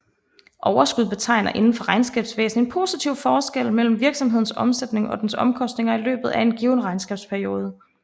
Overskud betegner indenfor regnskabsvæsen en positiv forskel mellem en virksomheds omsætning og dens omkostninger i løbet af en given regnskabsperiode